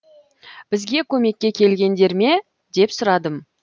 бізге көмекке келгендер ме деп сұрадым